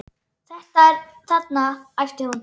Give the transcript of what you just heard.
Þetta þarna, æpti hún.